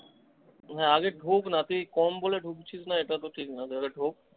হ্যাঁ, আগে ধোক না, তুই কম বলে ঢুকছিস না এটা তো ঠিক না আগে ধোক।